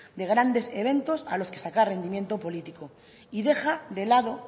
de grandes eventos a los que sacar rendimiento político y deja de lado